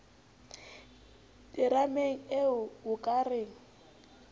terameng ee o ka re